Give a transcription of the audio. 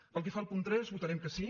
pel que fa al punt tres votarem que sí